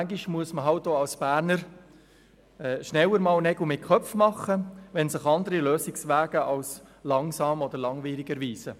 Manchmal muss man auch als Berner schneller Nägel mit Köpfen machen, wenn sich andere Lösungswege als langsam oder langwierig erweisen.